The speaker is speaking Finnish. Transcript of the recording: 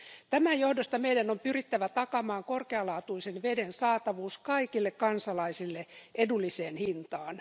Tämän johdosta meidän on pyrittävä takaamaan korkealaatuisen veden saatavuus kaikille kansalaisille edulliseen hintaan.